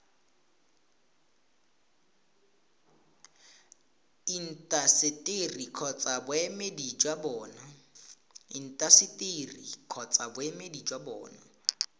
intaseteri kgotsa boemedi jwa bona